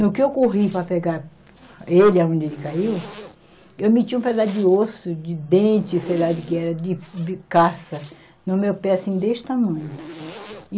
No que eu corri para pegar ele, aonde ele caiu, eu meti um pedaço de osso, de dente, sei lá de que era, de, de caça, no meu pé, assim, deste tamanho.